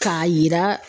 K'a yira